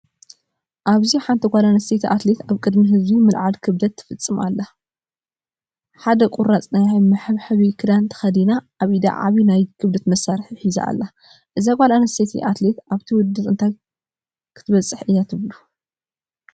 ኣብዚ ሓንቲ ጓል ኣንስተይቲ ኣትሌት ኣብ ቅድሚ ህዝቢ ምልዓል ክብደት ክትፍፅም ትርአ። ሓደ ቁራጽ ናይ መሐንበሲ ክዳን ተኸዲና ኣብ ኢዳ ዓቢ ናይ ክብደት መስርሒ ሒዛ ኣላ። እዛ ጓል ኣንስተይቲ ኣትሌት ኣብቲ ውድድር እንታይ ክትበጽሕ እያ ትብሉ?